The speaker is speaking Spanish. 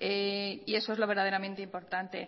y eso es lo verdaderamente importante